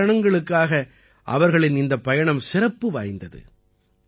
பல காரணங்களுக்காக அவர்களின் இந்தப் பயணம் சிறப்பு வாய்ந்தது